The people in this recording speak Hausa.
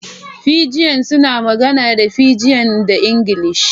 Fijian suna magana da Fijian da Ingilishi.